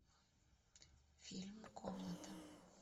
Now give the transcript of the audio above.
фильм комната